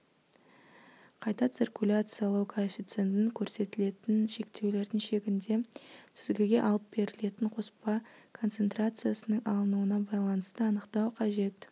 қайта циркуляциялау коэффициентін көрсетілген шектеулердің шегінде сүзгіге алып берілетін қоспа концентрациясының алынуына байланысты анықтау қажет